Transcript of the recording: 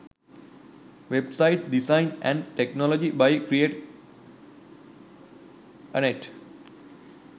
website design & technology by create anet